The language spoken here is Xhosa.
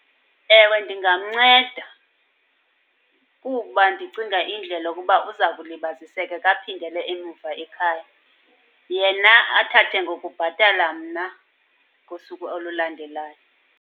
Ewe, ndingamnceda kuba ndicinga indlela yokuba uza kulibaziseka kaphindele emuva ekhaya. Yena athathe ngokubhatala mna ngosuku olulandelayo.